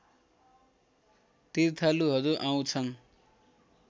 तीर्थालुहरू आउँछन्